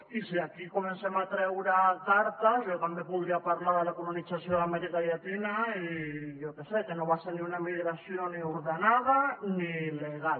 i si aquí comencem a treure cartes jo també podria parlar de la colonització d’amèrica llatina i jo que sé que no va ser una emigració ni ordenada ni legal